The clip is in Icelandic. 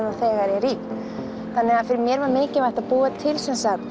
þegar í þannig að fyrir mér var mikilvægt að búa til